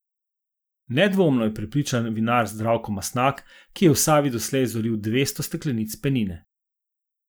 Nedvomno, je prepričan vinar Zdravko Mastnak, ki je v Savi doslej zoril devetsto steklenic penine.